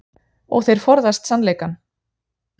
Og þeir forðast sannleikann.